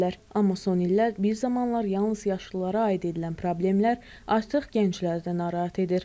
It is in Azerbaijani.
Amma son illər bir zamanlar yalnız yaşlılara aid edilən problemlər artıq gəncləri də narahat edir.